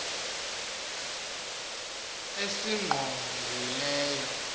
esingqongileyo